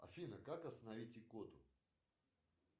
афина как остановить икоту